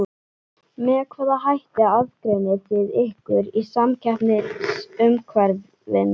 Með hvaða hætti aðgreinið þið ykkur í samkeppnisumhverfinu?